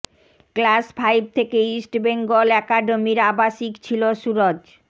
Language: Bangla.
ক্লাস ফাইভ থেকে ইস্ট বেঙ্গল অ্যাকাডেমির আবাসিক ছিল সুরজ